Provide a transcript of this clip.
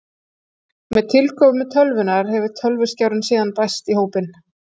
með tilkomu tölvunnar hefur tölvuskjárinn síðan bæst í hópinn